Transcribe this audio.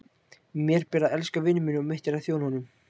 Mér ber að elska vin minn og mitt er að þjóna honum.